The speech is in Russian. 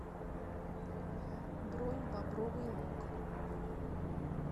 бронь бобровый лог